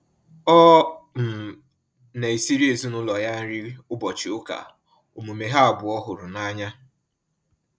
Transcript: Ọ um na esiri ezinaụlọ ya nri ụbọchị ụka, omume ha abụọ hụrụ n'anya